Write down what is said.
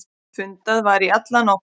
Fundað var í alla nótt.